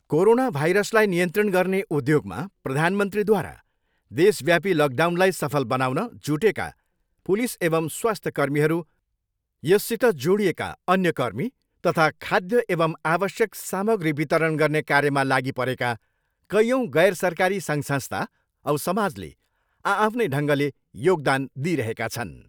Corona भाइरसलाई नियन्त्रित गर्ने उद्योगमा प्रधानमन्त्रीद्वारा देशव्यापी लकडाउनलाई सफल बनाउन जुटेका पुलिस एवम् स्वास्थ्यकर्मीहरू यससित जोडिएका अन्य कर्मी तथा खाद्य एवम् आवश्यक सामग्री वितरण गर्ने कार्यमा लागिपरेका कैयौँ गैर सरकारी सङ्घ संस्था औ समाजले आआफ्नै ढङ्गले योगदान दिइरहेका छन्।